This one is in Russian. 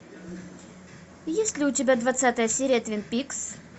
есть ли у тебя двадцатая серия твин пикс